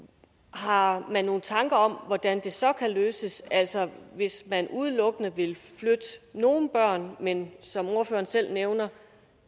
har man nogle tanker om hvordan det så kan løses altså hvis man udelukkende vil flytte nogle børn men som ordføreren selv nævner